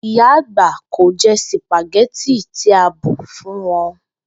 Ìyà agbà kò je̩ sìpàgé̩tì tí a bù fún wo̩n